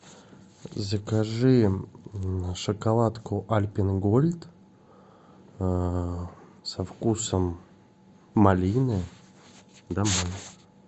закажи шоколадку альпен гольд со вкусом малины домой